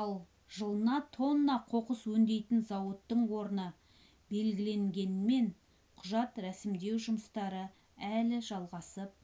ал жылына тонна қоқыс өңдейтін зауыттың орны белгіленгенімен құжат рәсімдеу жұмыстары әлі жалғасып